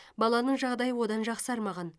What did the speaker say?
баланың жағдайы одан жақсармаған